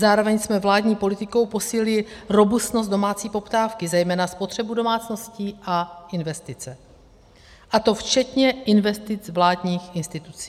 Zároveň jsme vládní politikou posílili robustnost domácí poptávky, zejména spotřebu domácností, a investice, a to včetně investic vládních institucí.